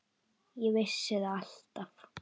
Ég vissi það alltaf.